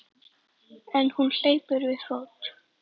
En hún hleypur við fót.